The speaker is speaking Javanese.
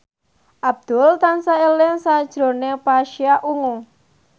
Abdul tansah eling sakjroning Pasha Ungu